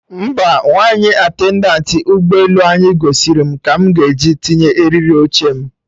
Mba, Nwaanyị attendantị ụgbọ elu anyị gosiri mụ ka mụ ga esi tinye eriri oche m